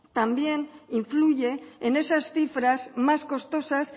también influye en esas cifras más costosas